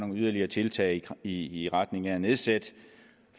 nogle yderligere tiltag i i retning af at nedsætte